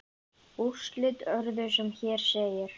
Úrslit urðu sem hér segir